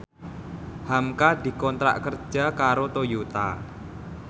hamka dikontrak kerja karo Toyota